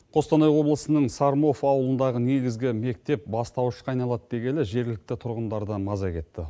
қостанай облысының сормов ауылындағы негізгі мектеп бастауышқа айналады дегелі жергілікті тұрғындардан маза кетті